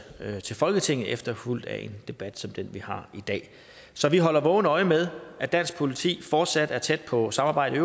til folketinget efterfulgt af en debat som den vi har i dag så vi holder vågent øje med at dansk politi fortsat er tæt på samarbejdet